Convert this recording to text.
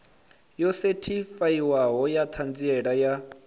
yo sethifaiwaho ya ṱhanziela ya